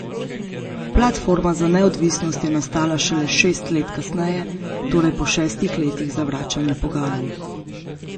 Platforma za neodvisnost je nastala šele šest let kasneje, torej po šestih letih zavračanja pogajanj.